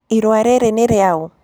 Ĩrũa rĩrĩ nĩ rĩaũ?